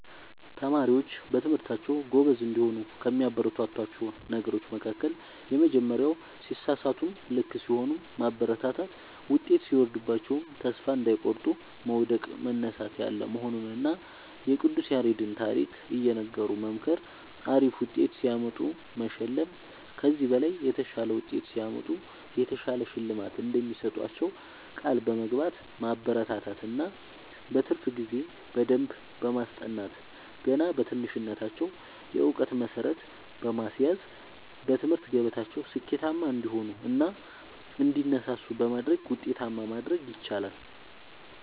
ተማሪዎች በትምህርታቸዉ ጎበዝ እንዲሆኑ ከሚያበረታቷቸዉ ነገሮች መካከል:- የመጀመሪያዉ ሲሳሳቱም ልክ ሲሆኑም ማበረታታት ዉጤት ሲወርድባቸዉም ተስፋ እንዳይቆርጡ መዉደቅ መነሳት ያለ መሆኑንና የቅዱስ ያሬድን ታሪክ እየነገሩ መምከር አሪፍ ዉጤት ሲያመጡ መሸለም ከዚህ በላይ የተሻለ ዉጤት ሲያመጡ የተሻለ ሽልማት እንደሚሰጧቸዉ ቃል በመግባት ማበረታታት እና በትርፍ ጊዜ በደንብ በማስጠናት ገና በትንሽነታቸዉ የእዉቀት መሠረት በማስያዝ በትምህርት ገበታቸዉ ስኬታማ እንዲሆኑ እና እንዲነሳሱ በማድረግ ዉጤታማ ማድረግ ይቻላል።